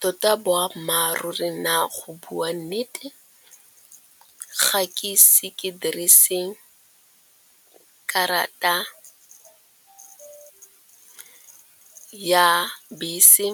Tota boammaaruri na go bua nnete ga ke ise ke diriseng karata ya bese